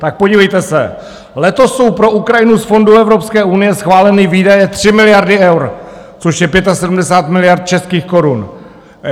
Tak podívejte se, letos jsou pro Ukrajinu z fondů Evropské unie schváleny výdaje 3 miliardy eur, což je 75 miliard českých korun.